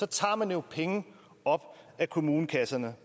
tager man jo penge op af kommunekasserne